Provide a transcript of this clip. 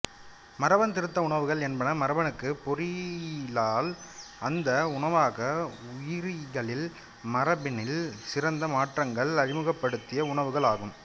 மரபன் திருத்த உணவுகள் என்பன மரபணுப் பொறியியலால் அந்த உணவாக்க உயிரிகளின் மரபனில் சிறப்பு மாற்றங்கள் அறிமுகப்படுத்திய உணவுகள் ஆகும்